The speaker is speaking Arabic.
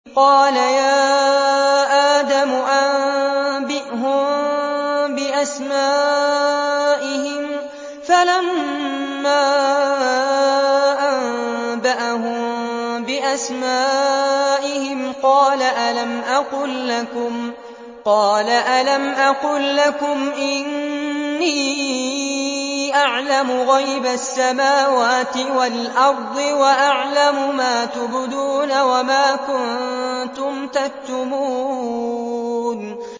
قَالَ يَا آدَمُ أَنبِئْهُم بِأَسْمَائِهِمْ ۖ فَلَمَّا أَنبَأَهُم بِأَسْمَائِهِمْ قَالَ أَلَمْ أَقُل لَّكُمْ إِنِّي أَعْلَمُ غَيْبَ السَّمَاوَاتِ وَالْأَرْضِ وَأَعْلَمُ مَا تُبْدُونَ وَمَا كُنتُمْ تَكْتُمُونَ